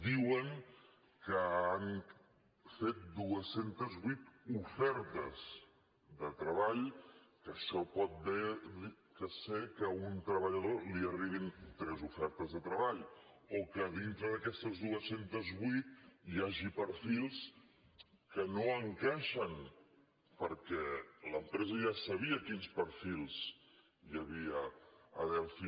diuen que han fet dos cents i vuit ofertes de treball que això pot bé ser que a un treballador li arribin tres ofertes de treball o que dintre d’aquestes dos cents i vuit hi hagi perfils que no encaixen perquè l’empresa ja sabia quins perfils hi havia a delphi